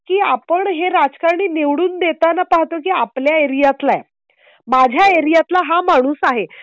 की आपण हे राजकारणी निवडून देताना पाहतो. की आपल्या एरिआतलाय माझ्या एरिआतला हा माणूस आहे